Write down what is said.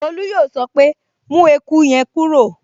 Tolú yóò sọ pé, 'mú eku yẹn kúrò'